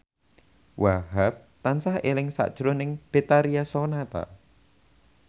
Wahhab tansah eling sakjroning Betharia Sonata